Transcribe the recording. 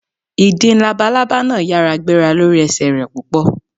Ìdin labalábà náà yára gbéra lórí ẹsẹ̀ rẹ̀ púpọ̀.